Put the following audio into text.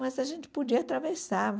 Mas a gente podia atravessar.